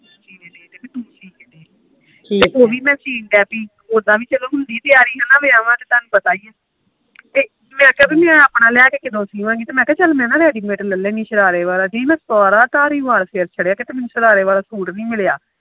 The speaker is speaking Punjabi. ਤੇ ਉਹੀ ਵੀ ਮੈਂ ਸੀਨ ਡੇਂਹ ਪਈ ਉਦਾ ਵੀ ਤਿਆਰੀ ਹੁੰਦੀ ਆ ਨਾ ਵਿਆਹ ਦੀ ਤੇ ਤਾਹਨੂੰ ਤੇ ਪਤਾ ਇਆ ਮੈਂ ਕਿਹਾ ਆਪਣਾ ਮੈਂ ਲੈ ਕੇ ਕਦੋ ਸਿਵਾਗੀ ਮੈ ਕਿਆ ਚੱਲ ਮੈ ਰੈਡੀ ਮੈਡ ਸ਼ਰਾਰੇ ਵਾਲਾ ਲੈ ਆ ਨੀ ਆ ਮੈਂ ਸਾਰਾ ਧਾਰੀਵਾਲ ਫੇਰ ਛਰਿਆ ਤੇ ਮੈਨੂੰ ਕੋਈ ਸ਼ਰਾਰੇ ਵਾਲਾ ਸੂਟ ਨੀ ਮਿਲਿਆ